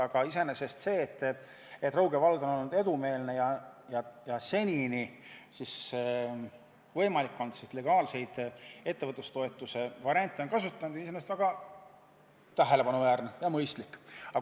Aga iseenesest see, et Rõuge vald on olnud edumeelne ja seni võimalikke legaalseid ettevõtlustoetuse variante kasutanud, on väga tähelepanuväärne ja mõistlik.